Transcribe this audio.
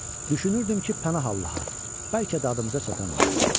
Düşünürdüm ki, pənah Allaha, bəlkə dadımıza çatan oldu.